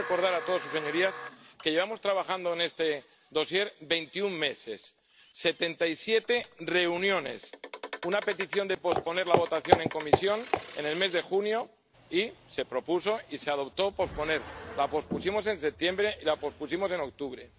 Yo quiero recordar a todas sus señorías que llevamos trabajando en este dosier 21 meses, con 77 reuniones y una petición de posponer la votación en comisión en el mes de junio, que se aceptó. La pospusimos en septiembre y la pospusimos en octubre.